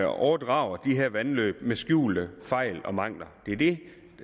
overdrager de her vandløb med skjulte fejl og mangler det er det